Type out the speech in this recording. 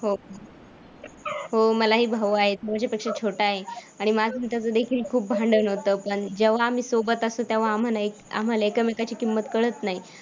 हो. हो, मलाही भाऊ आहेत, माझ्यापेक्षा छोटा आहे. आणि माझा आणि त्याचं देखील खूप भांडण होतं पण जेव्हा आम्ही सोबत असतो तेव्हा आम्हाला एक आम्हाला एकामेकाची किंमत कळत नाही.